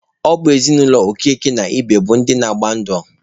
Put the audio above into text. Ọ bụ ezinụlọ Okeke na Ibe bụ ndị na-agba ndụ.